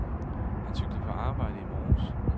Han cyklede på arbejde i morges.